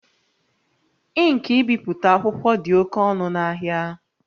Ink ibipụta akwụkwọ dị oke ọnụ n'ahịa